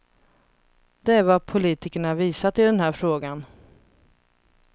Det är vad politikerna visat i den här frågan.